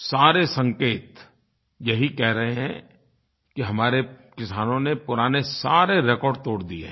सारे संकेत यही कह रहे हैं कि हमारे किसानों ने पुराने सारे रेकॉर्ड तोड़ दिये है